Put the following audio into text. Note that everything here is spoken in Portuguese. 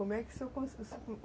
Como é que o senhor